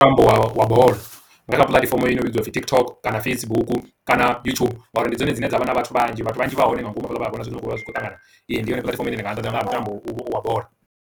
Mutambo wa bola nga kha puḽatifomo i no vhidzwa upfi TikTok kana Facebook kana yutshubu ngauri ndi dzone dzine dza vha na vhathu vhanzhi vhathu vhanzhi vha hone nga ngomu havhala vhana vhona zwine zwavha zwi kho ṱangana ee ndi yone puḽatifomo ine nṋe nda ḓivha nga ha mutambo wa bola